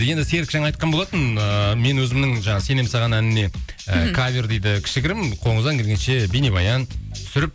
енді серік жаңа айтқан болатын ыыы мен өзімнің жаңа сенемін саған әніне і кавер дейді кішігірім қолыңыздан келгенше бейнебаян түсіріп